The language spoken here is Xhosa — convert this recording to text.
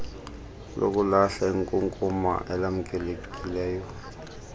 lokulahla inkunkuma elamkelekileyo